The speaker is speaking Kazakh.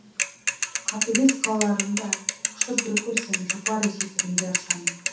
қатыгез қалаларым да құшып бір көрсем жұпар иісі түрінде аршаның